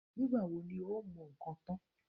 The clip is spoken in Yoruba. Nígbà wo ni o ó mọ nǹkan tán?